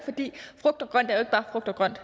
bare frugt og grønt